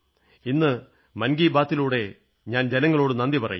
ഇന്ന് മൻ കീ ബാത്ലൂടെ ഞാൻ ജനങ്ങളോട് നന്ദി പറയുന്നു